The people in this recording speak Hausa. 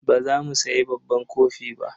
Ba za mu sayi babban kofi ba.